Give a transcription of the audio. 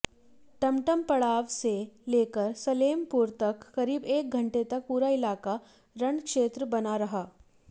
टमटम पड़ाव से लेकर सलेमपुर तक करीब एक घंटे तक पूरा इलाका रणक्षेत्र बना रहा